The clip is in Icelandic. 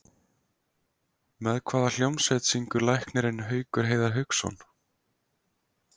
Með hvaða hljómsveit syngur læknirinn Haukur Heiðar Hauksson?